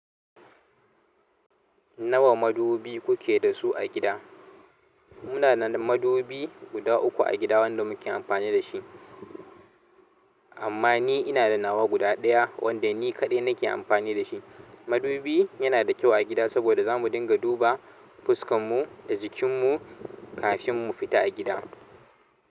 Nawa madubi kuke da su a gida? Muna da madubi guda uku a gida wanda muke amfani da shi, amma ni ina da nawa guda ɗaya wanda ni kaɗai nake amfani da shi. Madubi yana da kyau a gida saboda zamu dinga duba fuskarmu da jikin mu kafin mu fita a gida.